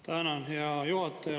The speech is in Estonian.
Tänan, hea juhataja!